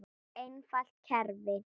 Einfalt kerfi.